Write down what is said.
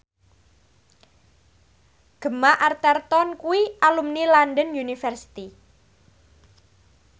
Gemma Arterton kuwi alumni London University